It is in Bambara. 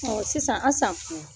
sisan Asan